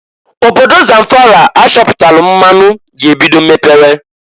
Obodo Zamfara achọpụtalụ mmanụ ga-ebido mepewe.